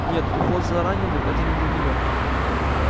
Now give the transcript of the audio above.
нет уход за раненым это не для неё